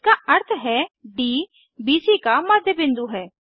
इसका अर्थ है डी बीसी का मध्य बिंदु है